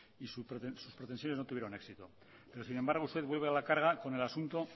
y sus pretensiones no tuvieron éxito pero sin embargo usted vuelve a la carga con el asunto